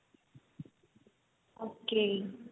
okay